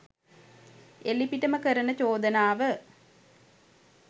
එළිපිටම කරන චෝදනාව